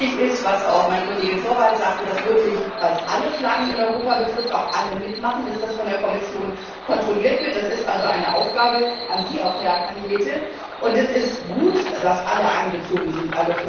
Wichtig ist, was auch mein Kollege Torvalds sagte, dass wirklich weil es alle Flaggen in Europa betrifft auch alle mitmachen, dass das von der Kommission kontrolliert wird, das ist also eine Aufgabe auch an Sie, Herr Arias Cañete, und es ist gut, dass alle Flaggen einbezogen sind.